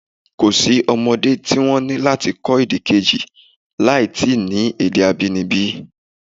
Kò sí àwọn ọmọdé tí wọ́n ni láti kọ́ èdè kejì láì ti ni èdè abínibí.